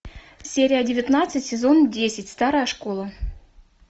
серия девятнадцать сезон десять старая школа